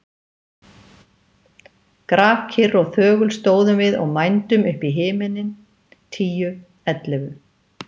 Grafkyrr og þögul stóðum við og mændum upp í himininn. tíu. ellefu.